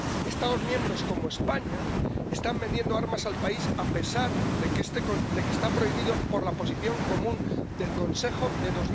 Estados miembros, como España, están vendiendo armas al país, a pesar de que está prohibido por la Posición Común del Consejo de